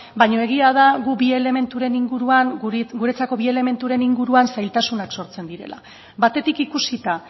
baina egia da gu bi elementuren inguruan guretzako bi elementuren inguruan zailtasunak sortzen direla batetik ikusita